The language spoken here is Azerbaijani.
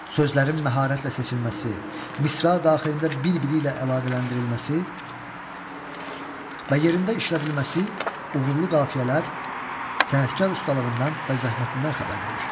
Sözlərin məharətlə seçilməsi, misra daxilində bir-biri ilə əlaqələndirilməsi və yerində işlədilməsi, uğurlu qafiyələr sənətkar ustalığından və zəhmətindən xəbər verir.